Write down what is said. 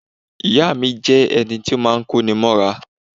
Ìya mi jẹ́ ẹni to máa ń kó ni mọ́ra